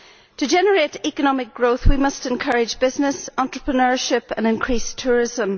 To generate economic growth we must encourage business, entrepreneurship and increased tourism.